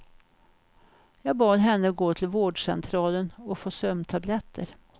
Jag bad henne gå till vårdcentralen och få sömntabletter.